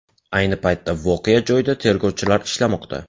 Ayni paytda voqea joyida tergovchilar ishlamoqda.